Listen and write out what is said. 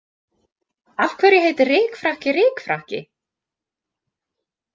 Af hverju heitir rykfrakki rykfrakki?